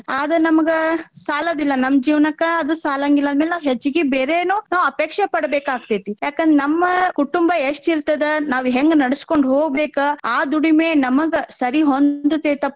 ಆದ್ರ ನಮಗ ಸಾಲೋದಿಲ್ಲಾ ನಮ್ ಜೀವನಕ್ಕ ಅದು ಸಾಲಾಂಗಿಲ್ಲಾ ಅದ್ನ ಮ್ಯಾಲ ನಾವ್ ಹೆಚ್ಚಗಿ ಬೇರೇನೂ ನಾವ್ ಅಪೇಕ್ಷೆ ಪಡಬೇಕಾಗ್ತೆತಿ. ಯಾಕಂದ್ರ ನಮ್ಮ ಕುಟುಂಬ ಎಷ್ಟ್ ಇರ್ತದ ನಾವ್ ಹೆಂಗ್ ನಡಸ್ಕೊಂಡ್ ಹೊಗ್ಬೇಕ ಆ ದುಡಿಮೆ ನಮಗ ಸರಿ ಹೊಂದತೇತಪ್ಪಾ.